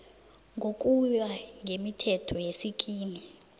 ngokuya ngemithetho yesikimu